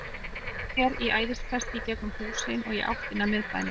Hann spyrnti sér í æðiskasti í gegnum húsin og í áttina að miðbænum.